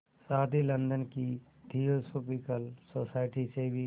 साथ ही लंदन की थियोसॉफिकल सोसाइटी से भी